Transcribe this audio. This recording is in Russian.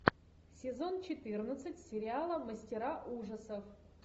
сезон четырнадцать сериала мастера ужасов